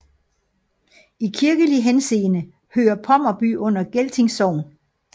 I kirkelig henseende hører Pommerby under Gelting Sogn